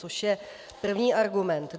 Což je první argument.